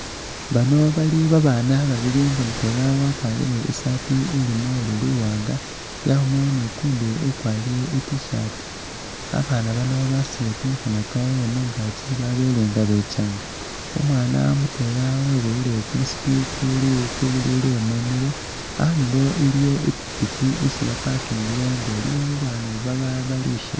Bano bali babana babili nga mutwela wakwarile I'saati ilimo oli'luwanga yabaamo nukundi ukwarile I't-shirt abana bano basutile kamakhono kabwe mungaaki babelenga bekyanga, umwana mutwela weboyile kumusipi kuli kubilile mumilo iliwo ipikipiki isi ba'pakingile nga iliwo babandu bali shimbi